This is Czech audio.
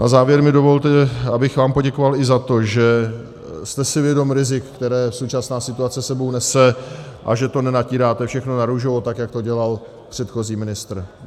Na závěr mi dovolte, abych vám poděkoval i za to, že jste si vědom rizik, která současná situace s sebou nese, a že to nenatíráte všechno narůžovo, tak jak to dělal předchozí ministr.